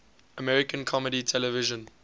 american comedy television